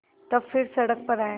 तब फिर सड़क पर आये